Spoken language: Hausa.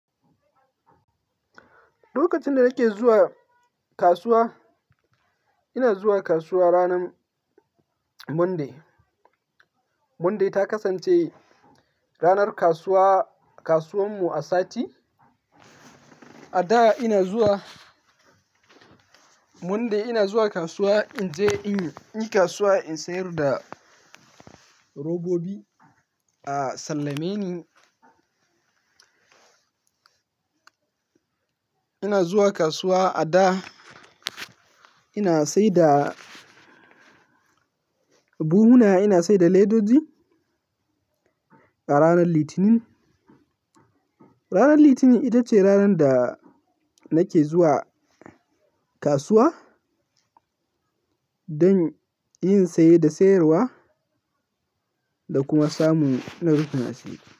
Lokacin da nake zuwa kasuwa, ina zuwa kasuwa ranar Monday. Monday ta kasance ranar kasuwa, kasuwar mu a sati. A da ina zuwa Monday ina zuwa kasuwa in je in yi kasuwa, in sayar da robobi a sallame ni. Ina zuwa kasuwa a da ina saida buhuna, ina saida leddoji a ranar Litinin. Ranar Litinin ita ce ranar da nake zuwa kasuwa don yin saye da sayarwa da kuma samu na rufina asiri.